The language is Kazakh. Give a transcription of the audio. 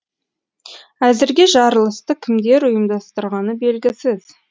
әзірге жарылысты кімдер ұйымдастырғаны белгісіз